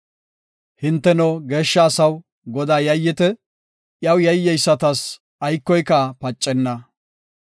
Hinteno, geeshsha asaw, Godaas yayyite; iyaw yayyeysatas aykoyka pacenna.